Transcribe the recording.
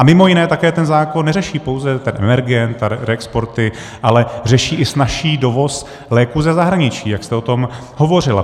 A mimo jiné také ten zákon neřeší pouze ten emergent a reexporty, ale řeší i snazší dovoz léků ze zahraničí, jak jste o tom hovořila.